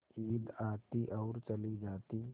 ईद आती और चली जाती